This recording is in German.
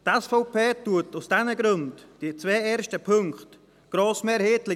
Die SVP unterstützt aus diesen Gründen die zwei ersten Punkte grossmehrheitlich.